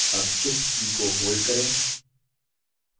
अब shift की को hold करें